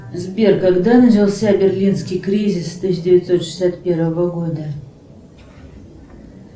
сбер когда начался берлинский кризис тысяча девятьсот шестьдесят первого года